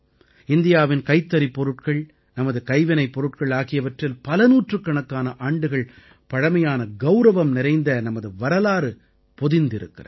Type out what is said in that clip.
இந்தியாவின் கைத்தறிப் பொருட்கள் நமது கைவினைப் பொருட்கள் ஆகியவற்றில் பலநூற்றுக்கணக்கான ஆண்டுகள் பழமையான கௌரவம் நிறைந்த நமது வரலாறு பொதிந்திருக்கிறது